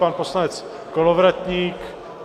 Pan poslanec Kolovratník?